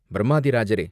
"பிரம்மாதி ராஜரே!